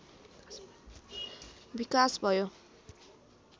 विकास भयो